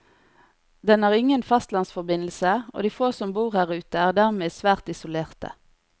Den har ingen fastlandsforbindelse, og de få som bor her ute er dermed svært isolerte.